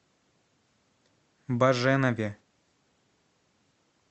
баженове